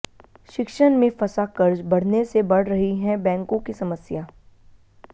शिक्षण में फंसा कर्ज बढ़ने से बढ़ रही है बैंकों की समस्या